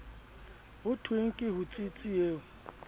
ho thweng ke hotsitsi eo